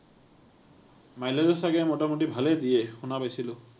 mileage ও চাগে মোটামুটি ভালেই দিয়ে, শুনা পাইছিলো।